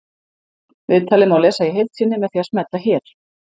Viðtalið má lesa í heild sinni með því að smella hér